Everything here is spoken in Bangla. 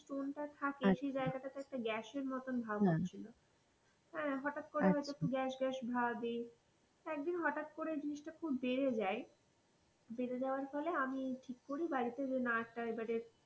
Stone টা থাকে সেই জায়গা টা গ্যাসের মতন ভাবনা আনছিল হ্যাঁ হঠাৎ করে হয়তো গ্যাস গ্যাস ভাবই, একদিন হঠাৎ করে জিনিসটা খুব বেড়ে যাই বেড়ে যাবার ফলে আমি ঠিক করি বাড়িতে না এবারে,